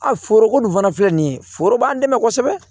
A foroko nin fana filɛ nin ye foro b'an dɛmɛ kosɛbɛ